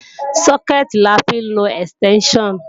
Sókẹ̀tì la fi ń lọ ẹ̀stẹ́ńṣàn